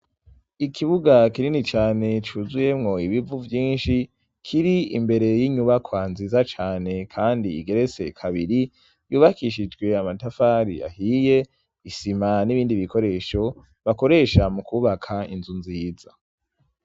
Ikibuga kinini cyane cyuzuyemwo ibivu byinshi kiri imbere y'inyubakwa nziza cyane kandi igerese kabiri yubakishijwe amatafari yahiye isima n'ibindi bikoresho bakoresha mu kubaka inzu nziza.